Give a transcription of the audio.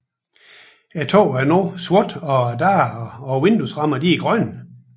Taget er nu sort og døre og vinduesrammer er grønne